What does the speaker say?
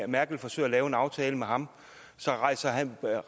merkel forsøger at lave en aftale med ham rejser han sager